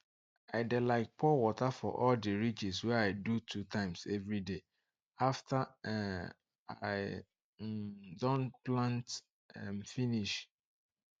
i dey like pour water for all the ridges wey i do two times everyday after um i um don plant um finish